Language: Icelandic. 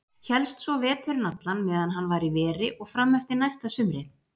Hélst svo veturinn allan meðan hann var í veri og fram eftir næsta sumri.